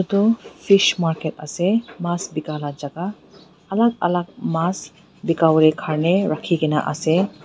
toh fish market ase mas bikai la jaka alak alak mas bikawolae karni rakhikaena ase.